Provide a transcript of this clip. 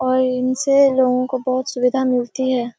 और इनसे लोगों को बहोत सुविधा मिलती है।